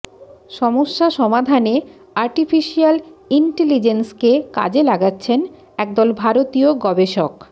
সমস্যা সমাধানে আর্টিফিশিয়াল ইন্টেলিজেন্সকে কাজে লাগাচ্ছেন একদল ভারতীয় গবেষক